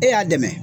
E y'a dɛmɛ